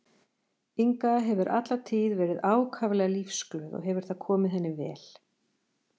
Inga hefur alla tíð verið ákaflega lífsglöð og hefur það komið henni vel.